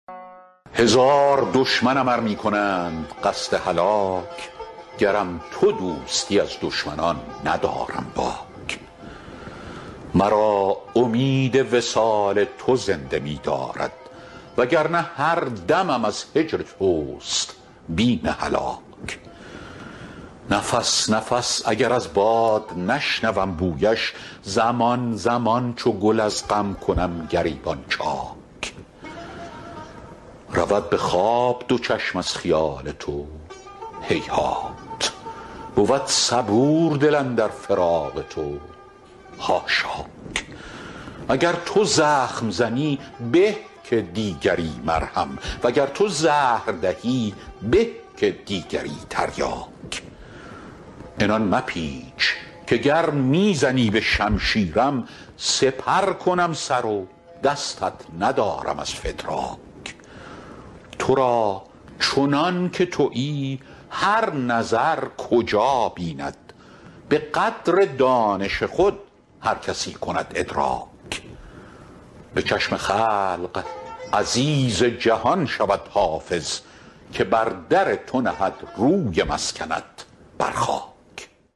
هزار دشمنم ار می کنند قصد هلاک گرم تو دوستی از دشمنان ندارم باک مرا امید وصال تو زنده می دارد و گر نه هر دمم از هجر توست بیم هلاک نفس نفس اگر از باد نشنوم بویش زمان زمان چو گل از غم کنم گریبان چاک رود به خواب دو چشم از خیال تو هیهات بود صبور دل اندر فراق تو حاشاک اگر تو زخم زنی به که دیگری مرهم و گر تو زهر دهی به که دیگری تریاک بضرب سیفک قتلی حیاتنا ابدا لأن روحی قد طاب ان یکون فداک عنان مپیچ که گر می زنی به شمشیرم سپر کنم سر و دستت ندارم از فتراک تو را چنان که تویی هر نظر کجا بیند به قدر دانش خود هر کسی کند ادراک به چشم خلق عزیز جهان شود حافظ که بر در تو نهد روی مسکنت بر خاک